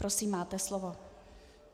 Prosím, máte slovo.